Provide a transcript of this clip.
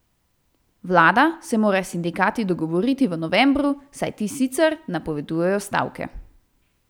Vlada se mora s sindikati dogovoriti v novembru, saj ti sicer napovedujejo stavke.